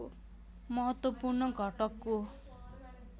महत्त्वपूर्ण घटकको